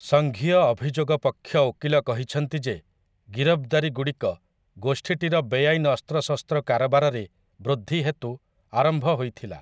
ସଙ୍ଘୀୟ ଅଭିଯୋଗ ପକ୍ଷ ଓକିଲ କହିଛନ୍ତି ଯେ ଗିରଫ୍‌ଦାରୀଗୁଡ଼ିକ, ଗୋଷ୍ଠୀଟିର ବେଆଇନ ଅସ୍ତ୍ରଶସ୍ତ୍ର କାରବାରରେ ବୃଦ୍ଧି ହେତୁ ଆରମ୍ଭ ହୋଇଥିଲା ।